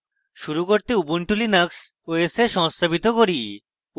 শুরু করতে ubuntu linux os এ সংস্থাপিত করি